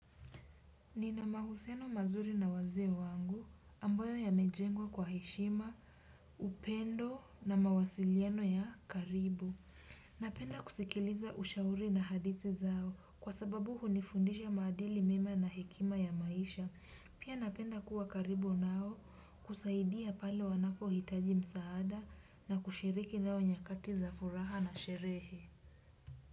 Nina mahusiano mazuri na waze wangu ambayo yamejengwa kwa heshima, upendo na mawasilieno ya karibu. Napenda kusikiliza ushauri na hadithi zao kwa sababu hunifundisha maadili mema na hekima ya maisha. Pia napenda kuwa karibu nao kusaidia pale wanako hitaji msaada na kushiriki nao nyakati za furaha na sherehe.